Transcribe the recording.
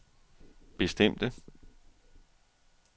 bestemte